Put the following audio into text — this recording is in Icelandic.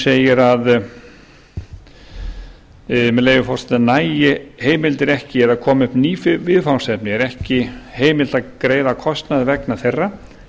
segir með leyfi forseta nægi heimildir ekki eða komi upp ný viðfangsefni er ekki heimilt að greiða kostnað vegna þeirra